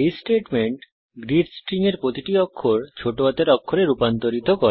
এই statement greet string এর প্রতিটি অক্ষর ছোট হাতের অক্ষরে রূপান্তরিত করে